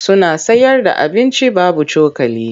Suna sayarda abinci babu cokali.